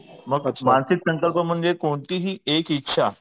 मानसिक संकल्प म्हणजे कोणतीही एक इच्छा